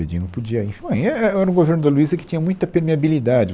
o Bedin não podia, e foi, é é era o governo da Luiza que tinha muita permeabilidade.